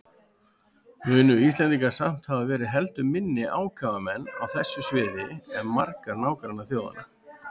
Munu Íslendingar samt hafa verið heldur minni ákafamenn á þessu sviði en margar nágrannaþjóðanna.